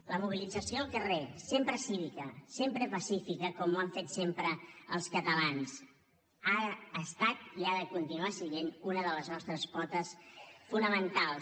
la mobilització al carrer sempre cívica sempre pacífica com ho han fet sempre els catalans ara ha estat i ho ha de continuar sent una de les nostres potes fonamentals